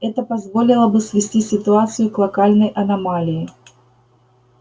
это позволило бы свести ситуацию к локальной аномалии